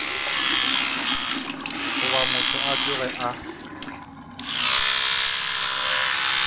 goba motho a tloge a